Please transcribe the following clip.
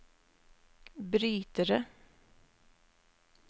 brytere